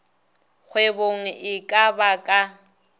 kgwebong e ka ba ka